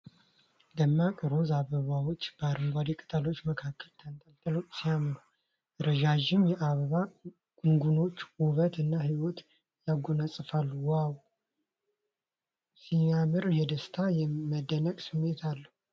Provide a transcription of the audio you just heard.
ደማቅ ሮዝ አበባዎች በአረንጓዴ ቅጠሎች መካከል ተንጠልጥለው ሲያምሩ ። ረዣዥም የአበባ ጉንጉኖች ውበት እና ሕይወት ያጎናጽፋሉ ። ዋው ሲያምር ! የደስታና የመደነቅ ስሜት አለው ።